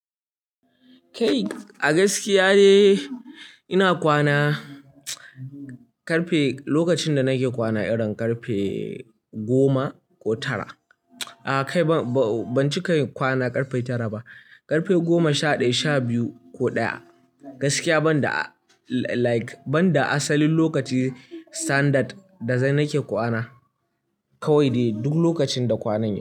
Kai a gaskiya ne ina kwana ƙarfe, lokacin da nake kwana irin ƙarfe goma ko tara. A kai ban cika kwana ƙarfe tara ba, ƙarfe goma sha ɗaya, sha biyu ko ɗaya. Gaskiya ban da like, ban da asalin lokaci standard da zai nake kwana kawai dai duk lokacin da kwanai.